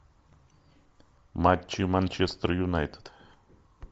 матчи манчестер юнайтед